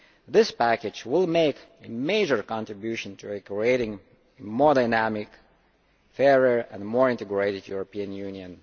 This package will make a major contribution to creating a more dynamic, fairer and more integrated European Union.